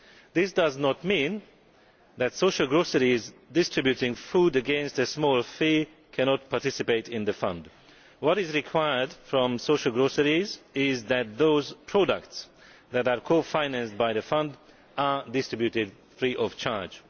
This does not mean that social groceries distributing food against a small fee cannot participate in the Fund. What is required from social groceries is that those products that are co financed by the Fund are distributed free of charge.